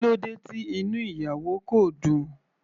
Kílódé tí inú ìyàwó kò dùn.